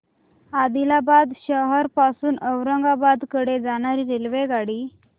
आदिलाबाद शहर पासून औरंगाबाद कडे जाणारी रेल्वेगाडी